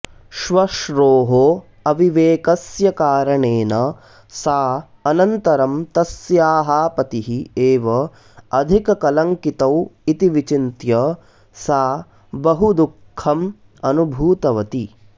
श्वश्रोः अविवेकस्य कारणेन सा अनन्तरं तस्याः पतिः एव अधिककलङ्कितौ इति विचिन्त्य सा बहुदुःखम् अनुभूतवती